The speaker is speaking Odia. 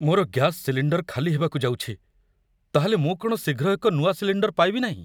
ମୋର ଗ୍ୟାସ ସିଲିଣ୍ଡର୍ ଖାଲି ହେବାକୁ ଯାଉଛି। ତା'ହେଲେ ମୁଁ କ'ଣ ଶୀଘ୍ର ଏକ ନୂଆ ସିଲିଣ୍ଡର୍ ପାଇବି ନାହିଁ ?